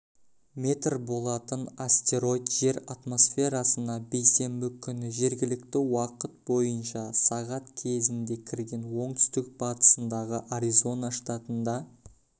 метр болатын астероид жер атмосферасына бейсенбі күні жергілікті уақыт бойынша сағат кезінде кірген оңтүстік-батысындағы аризона штатында